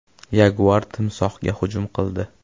Yaguar timsohga hujum qildi.